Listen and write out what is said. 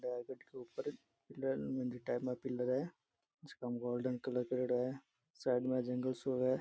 के ऊपर पिलर मंदिर टाइप में पिलर है जका में गोल्डन कलर करियोडो है साइड में जगंल सो है।